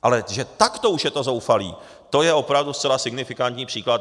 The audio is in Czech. Ale že takto už je to zoufalé, to je opravdu zcela signifikantní příklad.